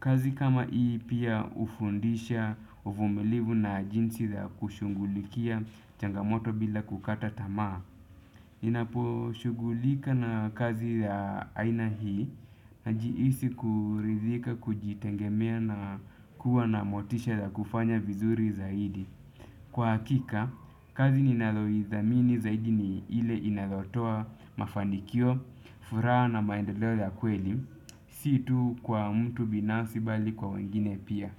Kazi kama hii pia hufundisha uvumilivu na jinsi ya kushungulikia changamoto bila kukata tamaa. Ninapo shugulika na kazi ya aina hii najihisi kuridhika, kujitegemea na kuwa na motisha ya kufanya vizuri zaidi. Kwa hakika, kazi ninalo idhamini zaidi ni ile inayotoa mafanikio, furaha na maendeleo ya kweli. Si tu kwa mtu binafsi bali kwa wengine pia.